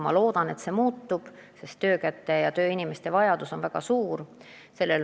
Ma loodan, et muutub, sest töökäte ja üldse tööinimeste vajadus on väga suur.